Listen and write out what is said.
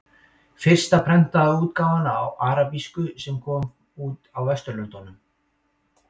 Fyrsta prentaða útgáfan á arabísku sem kom út á Vesturlöndum.